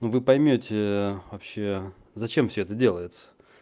ну вы поймёте вообще зачем всё это делается